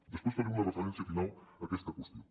després faré una referència final a aquesta qüestió